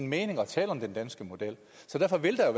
mening at tale om en dansk model så derfor vil der